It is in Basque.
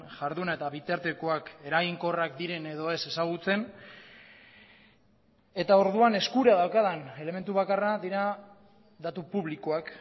jarduna eta bitartekoak eraginkorrak diren edo ez ezagutzen eta orduan eskura daukadan elementu bakarrak dira datu publikoak